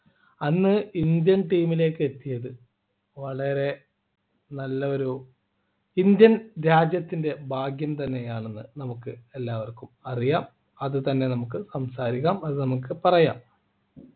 അന്ന് Indian team ലേക്ക് എത്തിയത് വളരെ നല്ലൊരു indian രാജ്യത്തിൻ്റെ ഭാഗ്യം തന്നെയാണെന്ന് നമുക്ക് എല്ലാവർക്കും അറിയാം അത് തന്നെ നമുക്ക് സംസാരിക്കാം അത് നമുക്ക് പറയാം